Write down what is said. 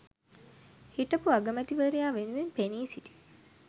හිටපු අගමැතිවරයා වෙනුවෙන් පෙනී සිටි